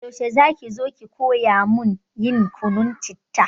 Yaushe zaki zo ki koya mun yin kunun citta?